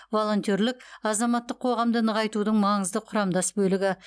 волонтерлік азаматтық қоғамды нығайтудың маңызды құрамдас бөлігі